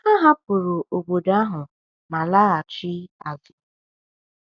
Ha hapụrụ obodo ahụ ma laghachi azụ.